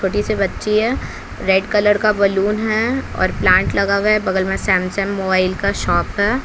छोटी सी बच्ची है रेड कलर का बलून है और प्लांट लगा हुआ है बगल में सैमसंग मोबाइल का शॉप है।